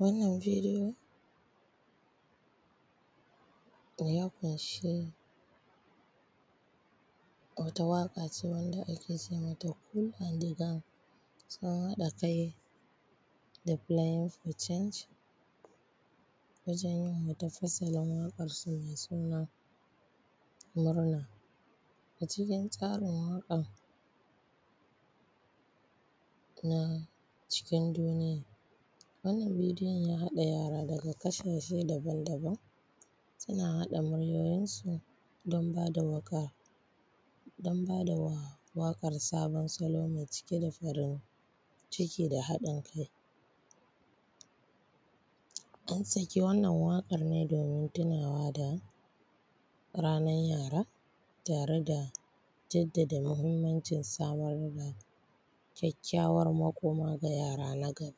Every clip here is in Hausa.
Wannan bidiyo ya ƙunshi wata waƙa ce wanda ake ce mata ku and the gang, sun haɗa kai da playing for change wajen yin wata fasalin waƙar su mai suna murna. A cikin tsarin waƙan na cikin duniya, wannan bidiyon ya haɗa yara daga ƙasashe daban-daban suna haɗa muryoyin su don bada waƙar don bada waƙar sabon salo mai cike da farin ciki da haɗin kai an saki wannan waƙar ne domin tunawa da ranar yara tare da jaddada mahimmancin samar da kyakkyawar makoma ga yara na gaba.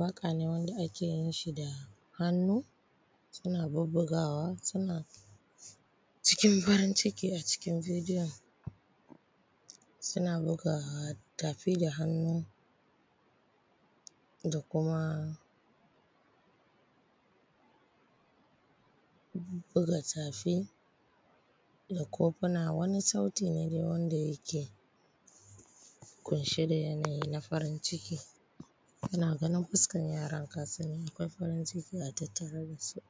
Waƙa ne wanda ake yin shi da hannu suna bubbugawa suna cikin farin ciki a cikin bidiyon suna buga tafi da hannu da kuma bubbuga tafi da kofuna wani sauti ne dai wanda yake ƙunshe da yanayi na farin ciki kana ganin fuskar yaran ka sani akwai farin ciki a tattare da su.